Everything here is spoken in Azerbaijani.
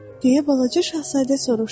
deyə balaca şahzadə soruşdu.